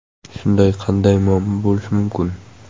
Shunday, qanday muammo bo‘lishi mumkin?!